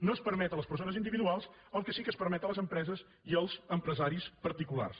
no es permet a les persones individuals el que sí que es permet a les empreses i als empresaris particulars